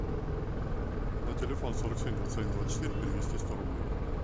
на телефон сорок семь двадцать один двадцать четыре перевести сто рублей